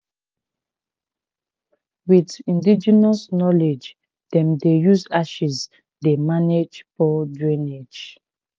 with indigenous knowledge dem dey use ashes dey manage poor drainage